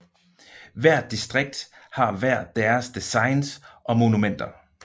Hvert distrikt har hver deres designs og monumenter